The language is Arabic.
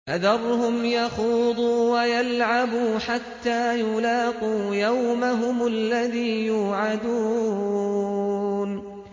فَذَرْهُمْ يَخُوضُوا وَيَلْعَبُوا حَتَّىٰ يُلَاقُوا يَوْمَهُمُ الَّذِي يُوعَدُونَ